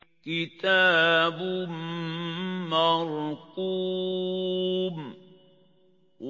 كِتَابٌ مَّرْقُومٌ